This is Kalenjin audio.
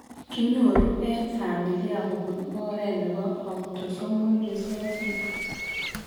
Kinyoru en famili kobun oret nebo autosomal recessive